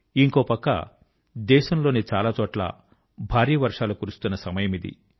ఇంకో పక్క దేశం లోని చాలా చోట్ల భారీ వర్షాలు కురుస్తున్న సమయమిది